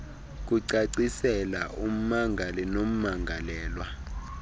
kucacisela ummangali nommangalelwa